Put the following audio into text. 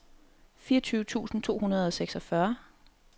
fireogtyve tusind to hundrede og seksogfyrre